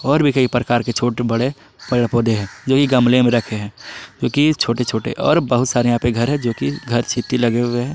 और भी कई प्रकार के छोटे बड़े पेड़ पौधे हैं जो कि गमले में रखे हैं जो कि बहुत छोटे छोटे और बहुत सारे यहां घर हैं जो कि घर छोटी लगे हुवे हैं।